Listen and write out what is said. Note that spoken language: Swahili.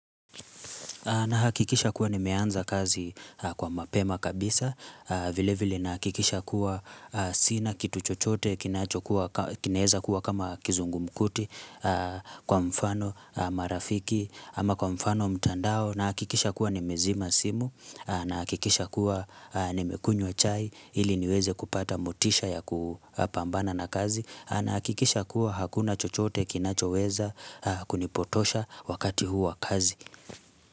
Na hakikisha kuwa nimeanza kazi kwa mapema kabisa, vilevili nahakikisha kuwa sina kitu chochote, kinacho weza kuwa kama kizungumkuti kwa mfano marafiki ama kwa mfano mtandao nahakikisha kuwa ni mezima simu na hakikisha kuwa ni mekunywa chai ili niweze kupata motisha ya kupambana na kazi na hakikisha kuwa hakuna chochote kinacho weza kunipotosha wakati huu wa kazi.